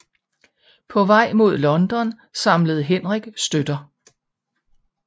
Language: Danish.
På vej mod London samlede Henrik støtter